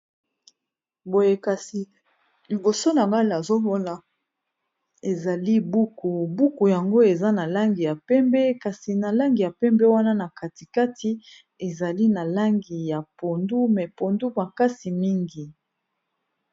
Boye kasi liboso na nga nazomona ezali buku buku yango eza na langi ya pembe kasi na langi ya pembe wana na katikati ezali na langi ya pondu me pondu makasi mingi.